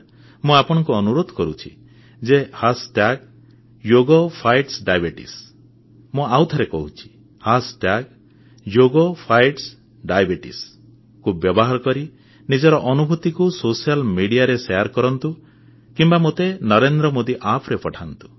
ମୁଁ ଆପଣମାନଙ୍କୁ ଅନୁରୋଧ କରୁଛି ଯେ ଯୋଗ ଫାଇଟସ୍ ଡାଇବିଟିଜ୍ ମୁଁ ଆଉଥରେ କହୁଛି ଯୋଗ ଫାଇଟସ୍ ଡାଇବିଟିଜ୍କୁ ବ୍ୟବହାର କରି ନିଜର ଅନୁଭୂତିକୁ ସାମାଜିକ ଗଣମାଧ୍ୟମରେ ବାଣ୍ଟନ୍ତୁ କିମ୍ବା ମୋତେ ନରେନ୍ଦ୍ର ମୋଦି App ରେ ପଠାନ୍ତୁ